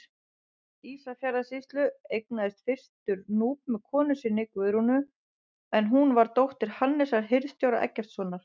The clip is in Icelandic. Ísafjarðarsýslu, eignaðist fyrstur Núp með konu sinni, Guðrúnu, en hún var dóttir Hannesar hirðstjóra Eggertssonar.